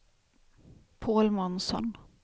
Paul Månsson